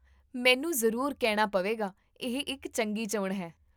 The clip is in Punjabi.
ਮੈਨੂੰ ਜ਼ਰੂਰ ਕਹਿਣਾ ਪਵੇਗਾ, ਇਹ ਇੱਕ ਚੰਗੀ ਚੋਣ ਹੈ